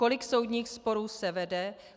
Kolik soudních sporů se vede?